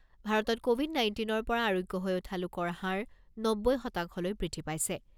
ভাৰতত ক’ভিড নাইণ্টিনৰ পৰা আৰোগ্য হৈ উঠা লোকৰ হাৰ নব্বৈ শতাংশলৈ বৃদ্ধি পাইছে।